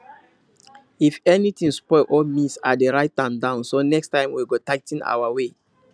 if anything spoil or miss i dey write am down so next time we go tigh ten our way